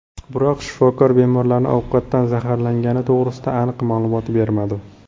Biroq shifokor bemorlarning ovqatdan zaharlangani to‘g‘risida aniq ma’lumot bermadi.